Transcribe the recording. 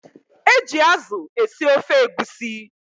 E ji azụ esi ofe egusi